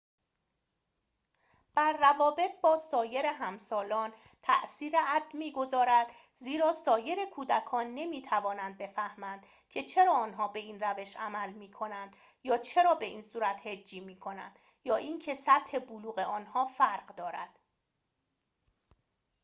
add بر روابط با سایر همسالان تأثیر می‌گذارد زیرا سایر کودکان نمی‌توانند بفهمند که چرا آنها به این روش عمل می‌کند یا چرا به این صورت هجی می‌کنند یا اینکه سطح بلوغ آنها فرق دارد